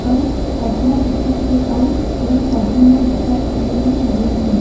अउ पखरा दिखत हे अउ पेड़-पौधा मन दिखत हे जेन मन हरियर हे।